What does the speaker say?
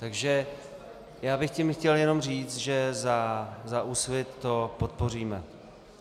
Takže já bych tím chtěl jenom říct, že za Úsvit to podpoříme.